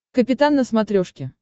капитан на смотрешке